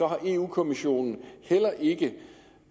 har europa kommissionen heller ikke